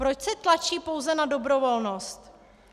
Proč se tlačí pouze na dobrovolnost?